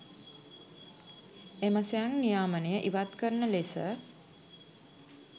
එම ස්වයං නියාමනය ඉවත් කරන ලෙස